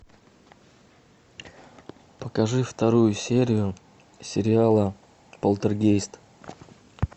покажи вторую серию сериала полтергейст